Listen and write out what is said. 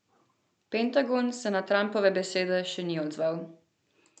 Pentagon se na Trumpove besede še ni odzval.